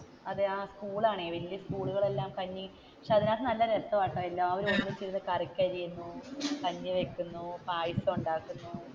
അതെ സ്കൂളാണ് വല്യ സ്കൂളുകളെല്ലാം പക്ഷേ അതിനകത്തു നല്ല രസമാണ് കഞ്ഞി വെക്കുന്നു പായസം ഉണ്ടാക്കുന്നു.